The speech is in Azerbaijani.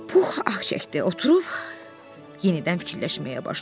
Pux ah çəkdi, oturub yenidən fikirləşməyə başladı.